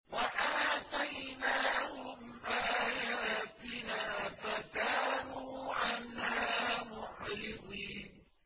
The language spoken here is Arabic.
وَآتَيْنَاهُمْ آيَاتِنَا فَكَانُوا عَنْهَا مُعْرِضِينَ